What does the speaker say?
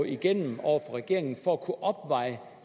igennem over for regeringen for at kunne opveje